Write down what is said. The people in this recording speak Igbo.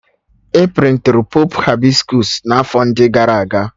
A prịntịrụ Pọpụ Hibiskọs n'afọ ndị gara aga